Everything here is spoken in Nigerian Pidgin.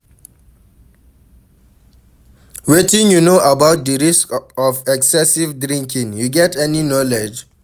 Wetin you know about di risks of excessive drinking, you get any knowledge?